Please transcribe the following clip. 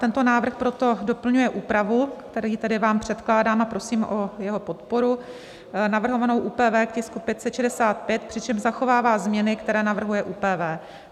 Tento návrh proto doplňuje úpravu, který tady vám předkládám a prosím o jeho podporu navrhovanou ÚPV k tisku 565, přičemž zachovává změny, které navrhuje ÚPV.